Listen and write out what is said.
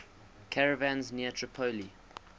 caravans near tripoli